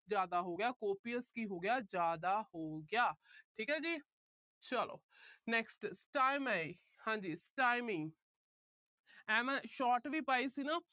ਜਿਆਦਾ ਹੋ ਗਿਆ। copious ਕੀ ਹੋ ਗਿਆ। ਜਿਆਦਾ ਹੋ ਗਿਆ। ਠੀਕ ਹੈ ਜੀ। ਚਲੋ। next stymie ਹਾਂਜੀ stymie ਐ ਮੈਂ short ਵੀ ਪਾਈ ਸੀ ਨਾ।